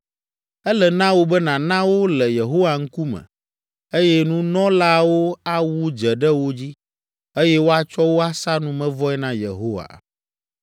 Ele na wò be nàna wo le Yehowa ŋkume, eye nunɔlaawo awu dze ɖe wo dzi, eye woatsɔ wo asa numevɔe na Yehowa.